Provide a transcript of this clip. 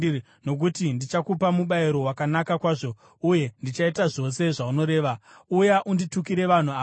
nokuti ndichakupa mubayiro wakanaka kwazvo uye ndichaita zvose zvaunoreva. Uya unditukire vanhu ava.”